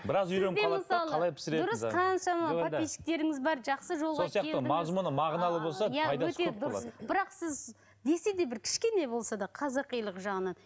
бірақ сіз десе де бір кішкене болса да қазақилық жағынан